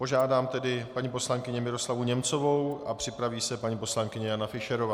Požádám tedy paní poslankyni Miroslavu Němcovou a připraví se paní poslankyně Jana Fischerová.